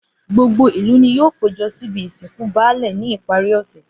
Gbogbo ìlú ni yóò péjo síbi ìsìnkú baálè ní ìparí òsè.